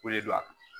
Ko le do a kun